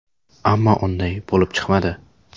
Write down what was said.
Ammo unday bo‘lib chiqmadi.